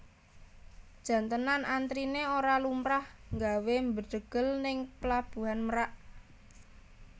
Jan tenan antrine ora lumrah nggawe mbedhegel ning Pelabuhan Merak